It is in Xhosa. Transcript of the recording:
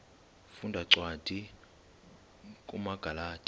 funda cwadi kumagalati